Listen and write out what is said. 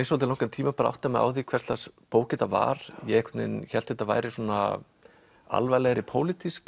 svolítið langan tíma að átta mig á því hvers lags bók þetta var ég hélt þetta væri svona alvarlegri pólitísk